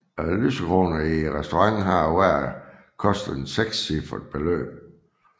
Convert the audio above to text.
Lysekronerne i restauranten har hver kostet et sekscifret beløb